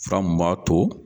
Fura mun b'ato